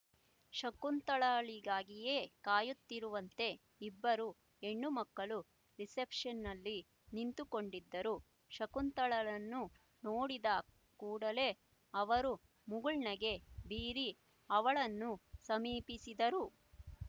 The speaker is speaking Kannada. ಶಕುಂತಲಾಳಿಗಾಗಿಯೇ ಕಾಯುತ್ತಿರುವಂತೆ ಇಬ್ಬರು ಹೆಣ್ಣುಮಕ್ಕಳು ರಿಸೆಪ್ಷನ್‍ನಲ್ಲಿ ನಿಂತುಕೊಂಡಿದ್ದರು ಶಕುಂತಲಾಳನ್ನು ನೋಡಿದ ಕೂಡಲೇ ಅವರು ಮುಗುಳ್ನಗೆ ಬೀರಿ ಅವಳನ್ನು ಸಮೀಪಿಸಿದರು